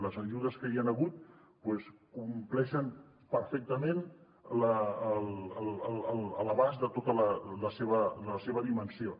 les ajudes que hi han hagut doncs compleixen perfectament l’abast de tota la seva dimensió